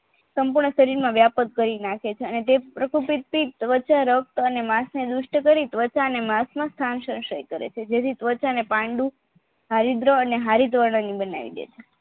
સંપૂર્ણ શરીરમાં વ્યાપક કરી નાખે છે અને તે પ્રકૃતિક રચાય રક્ત માસ ને દુષ્ટ કરી ત્વચા ને માસમક સ્થાન સંચય કરે છે જેથી ત્વચા ને પાંડુ હારિદ્ર અને હારિતવર્ણન બનાવી દેઇ છે